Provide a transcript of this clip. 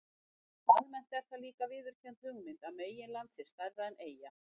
Almennt er það líka viðurkennd hugmynd að meginland sé stærra en eyja.